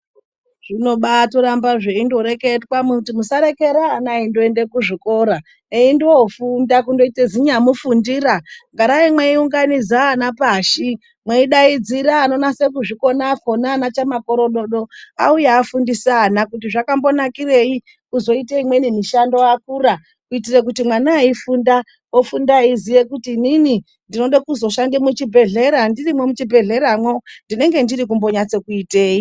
Zvinobaa toramba zveindoreketwa kuti, musarekera ana eindoenda kuzvikora, eindoofunda kundoita zinyamufundira. Garai mweiunganidza ana pashi, mweidaidzira anonasa kuzviona akhona ana chamakorododo, auye afundise ana kuti zvakambonakirei kuzoite imweni mishando vakura kuitire kuti mwana eifunda aziye kuti inini ndoda kuzoshanda muchibhedhlera, ndirimwo muchibhedhleramo ndinenge ndiri kumbonasa kuitei.